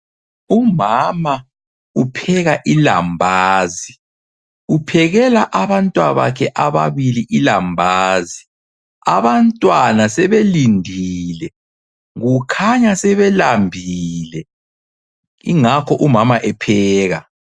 Umama upheka ilambazi, uphekela abantwabakhe ababili ilambazi. Abantwana sebelindili, kukhanya sebelambile ingakho umama epheka.